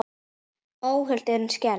Óhult en skelfd.